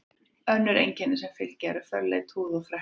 Önnur einkenni sem fylgja eru fölleit húð og freknur.